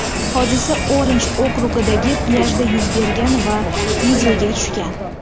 Hodisa Orinj okrugidagi plyajda yuz bergan va videoga tushgan.